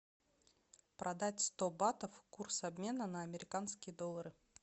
продать сто батов курс обмена на американские доллары